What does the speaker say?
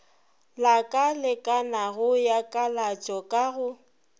lakalekanago ya kalatšo ka go